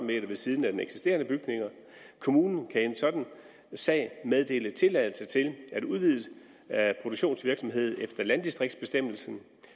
ved siden af den eksisterende bygning kommunen kan i en sådan sag meddele tilladelse til en udvidelse af produktionsvirksomheden efter landdistriktsbestemmelsen